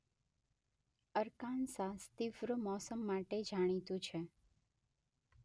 Arkansas તીવ્ર મૌસમ માટે જાણીતું છે.